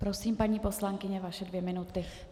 Prosím, paní poslankyně, vaše dvě minuty.